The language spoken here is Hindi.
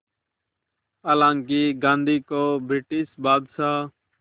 हालांकि गांधी को ब्रिटिश बादशाह